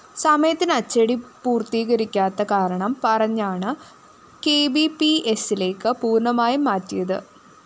സമയത്തിന് അച്ചടി പൂര്‍ത്തീകരിക്കാത്ത കാരണം പറഞ്ഞാണ് കെബിപിഎസ്സിലേക്ക് പൂര്‍ണമായും മാറ്റിയത്